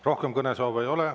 Rohkem kõnesoove ei ole.